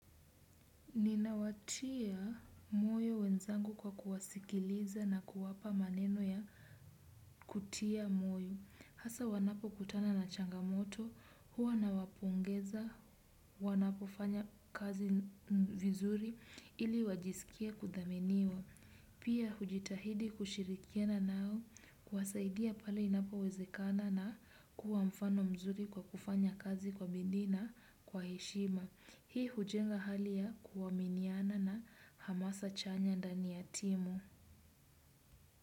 Nina watia moyo wenzangu kwa kuwasikiliza na kuwapa maneno ya kutia moyo. Hasa wanapo kutana na changamoto, huwa na wapongeza, wanapo fanya kazi vizuri ili wajisikie kudhaminiwa. Pia hujitahidi kushirikiana nao kuwasaidia pale inapo wezekana na kuwa mfano mzuri kwa kufanya kazi kwa bidii na kwa heshima. Hii hujenga hali ya kuwaminiana na hamasa chanya ndani ya timu.